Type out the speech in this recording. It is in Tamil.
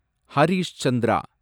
ஹரிஷ் சந்திரா